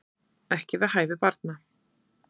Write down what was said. Ekki við hæfi barna